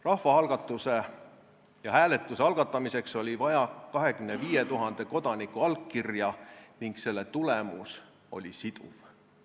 Rahvaalgatuse ja -hääletuse algatamiseks oli vaja 25 000 kodaniku allkirja ning selle tulemus oli siduv.